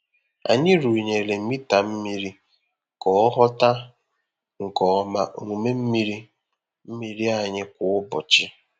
Anyị rụnyere mita mmiri ka ọ ghọta nke ọma omume oriri mmiri anyị kwa ụbọchị.